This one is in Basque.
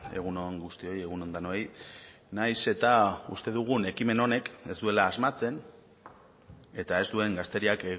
egun on guztioi egun on denoi nahiz eta uste dugun ekimen honek ez duela asmatzen eta ez duen gazteriak